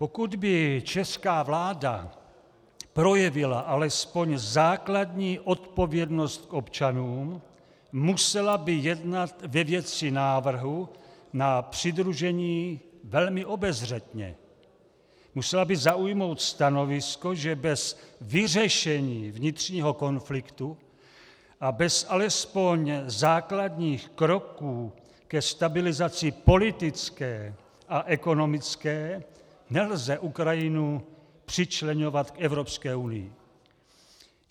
Pokud by česká vláda projevila alespoň základní odpovědnost k občanům, musela by jednat ve věci návrhu na přidružení velmi obezřetně, musela by zaujmout stanovisko, že bez vyřešení vnitřního konfliktu a bez alespoň základních kroků ke stabilizaci politické a ekonomické nelze Ukrajinu přičleňovat k Evropské unii.